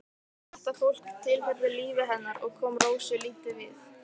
Þetta fólk tilheyrði lífi hennar en kom Rósu lítið við.